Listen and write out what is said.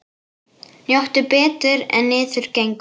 Njóttu betur en niður gengur.